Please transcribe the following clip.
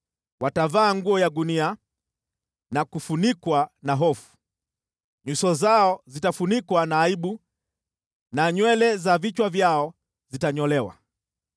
Watavaa nguo ya gunia na kufunikwa na hofu. Nyuso zao zitafunikwa na aibu na nywele za vichwa vyao zitanyolewa.